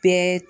Bɛɛ